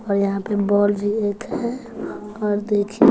और यहां पे बॉल भी एक है और देखिए--